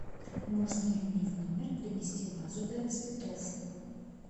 можно ли мне в номер принести вазу для цветов